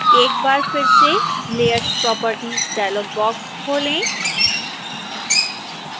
एक बार फिर से layers properties डायलॉग बॉक्स खोलें